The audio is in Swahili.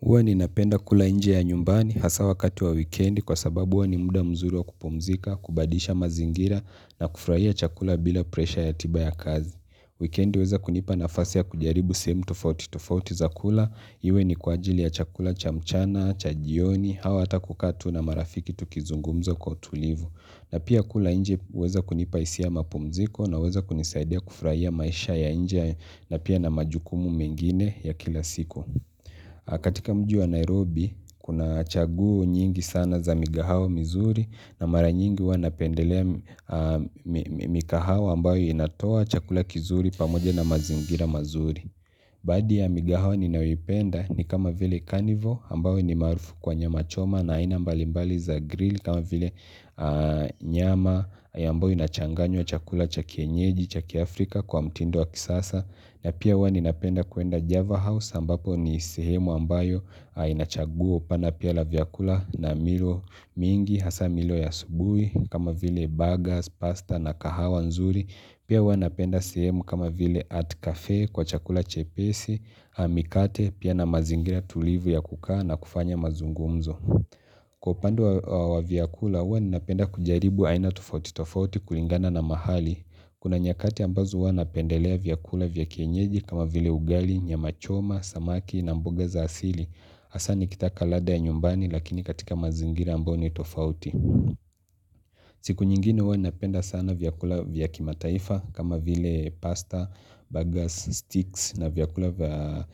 Huwa ninapenda kula nje ya nyumbani hasaa wakati wa wikendi kwa sababu huwa ni muda mzuri wa kupumzika, kubadilisha mazingira na kufuraia chakula bila presha ya tiba ya kazi. Weekendi weza kunipa nafasi ya kujaribu sehemu tofauti tofauti za kula. Iwe ni kwa ajili ya chakula cha mchana, cha jioni, au hata kukaa tu na marafiki tukizungumzo kwa utulivu. Na pia kula nje huweza kunipa hisia ya mapumziko na huweza kunisaidia kufuraia maisha ya nje na pia na majukumu mengine ya kila siku. Katika mji wa Nairobi, kuna chaguo nyingi sana za migahao mizuri na mara nyingi huwa napendelea mikahao ambayo inatoa chakula kizuri pamoja na mazingira mazuri Baadhi ya migahao ninayoipenda ni kama vile carnival ambayo ni maarufu kwa nyama choma na aina mbalimbali za grill kama vile nyama ambayo ina changanyo chakula cha kienyeji cha kiafrika kwa mtindu wa kisasa na pia huwa ninapenda kuenda Java House ambapo ni sehemu ambayo haina chaguo pana pia la vyakula na milo mingi, hasa milo ya asubuhi, kama vile burgers, pasta na kahawa nzuri. Pia huwa napenda sehemu kama vile art cafe kwa chakula chepesi, mikate, pia na mazingira tulivu ya kukaa na kufanya mazungumzo. Kwa upande wa vyakula, huwa ninapenda kujaribu aina tufauti tofauti kulingana na mahali. Kuna nyakati ambazo huwa napendelea vyakula vya kienyeji kama vile ugali, nyama choma, samaki na mboga za asili. Hasa nikitaka ladha ya nyumbani lakini katika mazingira ambayo ni tofauti. Siku nyingine huwa napenda sana vyakula vya kimataifa kama vile pasta, bagas, sticks na vyakula vya